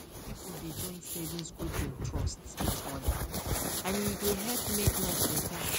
people dey join savings group dem trust each other and e dey help make life better